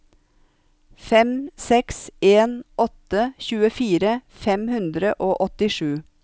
fem seks en åtte tjuefire fem hundre og åttisju